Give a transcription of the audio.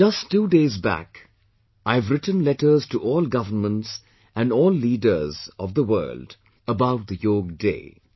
Just two days back, I have written letters to all governments and all leaders of the world about the Yoga Day